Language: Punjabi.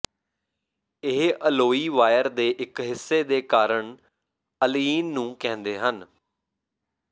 ਇਹ ਅਲੋਈ ਵਾਇਰ ਦੇ ਇਕ ਹਿੱਸੇ ਦੇ ਕਾਰਨ ਅਲਇਨ ਨੂੰ ਕਹਿੰਦੇ ਹਨ